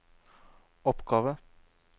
oppgave